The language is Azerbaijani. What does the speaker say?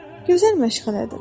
Gözəl məşğələdir.